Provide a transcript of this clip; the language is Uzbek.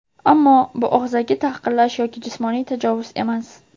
ammo bu og‘zaki tahqirlash yoki jismoniy tajovuz emas.